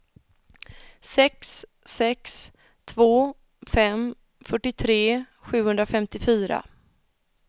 sex sex två fem fyrtiotre sjuhundrafemtiofyra